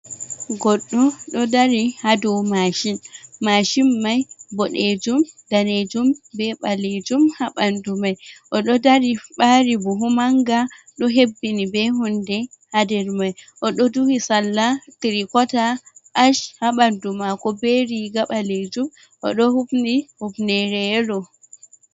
Goɗɗo ɗo dari ha dou mashin, mashin mai boɗejum, danejum, be ɓalejum ha bandu mai oɗo dari ɓari buhu manga ɗo hebbini be hunde ha nder mai oɗo duhi sallah trikota ach ha bandu mako be riga ɓalejum oɗo hufni hufnere yelo.